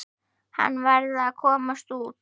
Hann varð að komast út.